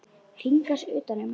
Hringa sig utan um mig.